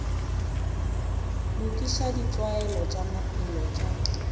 lokiša ditlwaelo tša maphelo tša